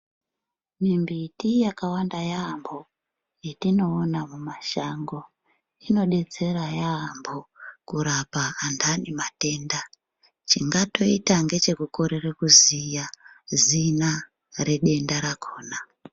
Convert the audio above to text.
Mimbiti yakawanda yampho yetinoona mumashango inodetsera yampho kurapa antani matenda chingatoita ngechekukorere kuziya zina redenda rakona.